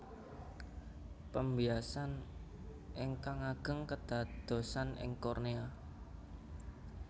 Pembiasan ingkang ageng kedadosan ing kornea